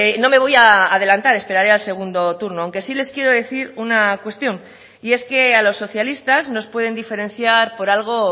no me voy a adelantar esperaré al segundo turno aunque sí les quiero decir una cuestión y es que a los socialistas nos pueden diferenciar por algo